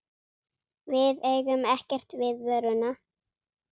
Við eigum ekkert við vöruna.